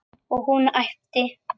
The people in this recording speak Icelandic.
Og hún æpti.